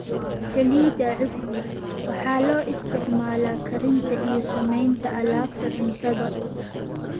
Saliidda Cudbi: Waxaa loo isticmaalaa karinta iyo samaynta alaabta cuntada.